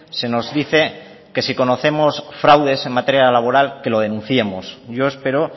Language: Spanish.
se nos dice que si nos conocemos fraudes en materia laboral que lo denunciemos yo espero